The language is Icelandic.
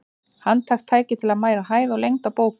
Handhægt tæki til að mæla hæð og lengd á bókum.